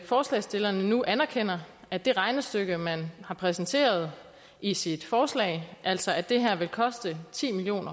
forslagsstillerne nu anerkender at det regnestykke man har præsenteret i sit forslag altså at det her vil koste ti million